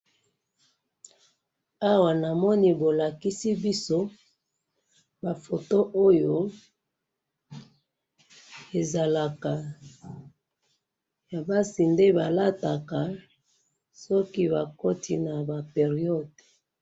Awa namoni bo lakisi biso ba photos oyo ezalaka ya basi nde ba lataka soki bakoti nde na ba période